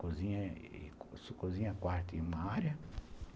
Cozinha, quarto e uma área.